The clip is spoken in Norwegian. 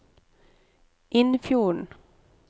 Innfjorden